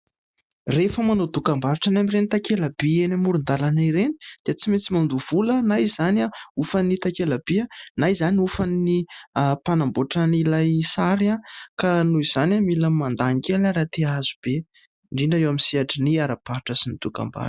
Rehefa manao dokam-barotra eny amin'ireny takela-by eny amoron-dàlana ireny, dia tsy maintsy mandoha vola. Na izany hofan'ny takela-by, na izany hofan'ny mpanamboatran'ilay sary; ka noho izany mila mandany kely raha te hahazo be, indrindra eo amin'ny sehatry ny ara-barotra sy ny dokam-barotra.